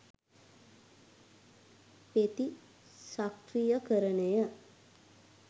ප්‍රතිචක්‍රීයකරණය